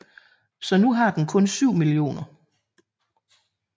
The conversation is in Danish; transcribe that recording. Så nu har den kun 7 mio